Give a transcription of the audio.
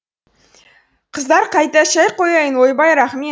қыздар қайта шәй қояйын ойбай рахмет